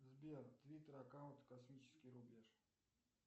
сбер твиттер аккаунт космический рубеж